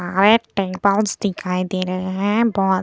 दिखाई दे रहे है बहुत --